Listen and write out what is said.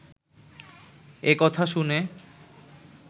একথা শুনে